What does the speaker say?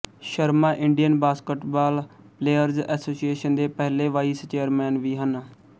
Sharma Indian basketball players association ਦੇ ਪਹਿਲੇ vice chairman ਵੀ ਹਨ